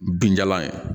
Binjalan in